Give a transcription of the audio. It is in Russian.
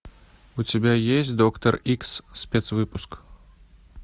у тебя есть доктор икс спецвыпуск